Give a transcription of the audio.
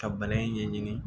Ka ɲɛɲini